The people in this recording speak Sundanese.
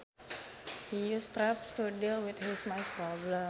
He uses traps to deal with his mice problem